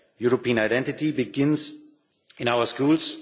The European identity begins in our schools